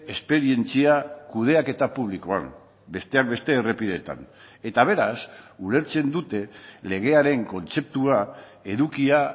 esperientzia kudeaketa publikoan besteak beste errepideetan eta beraz ulertzen dute legearen kontzeptua edukia